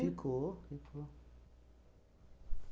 Ficou, ficou.